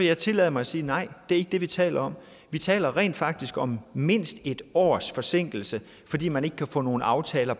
jeg tillade mig at sige nej det er ikke det vi taler om vi taler rent faktisk om mindst et års forsinkelse fordi man ikke kan få nogle aftaler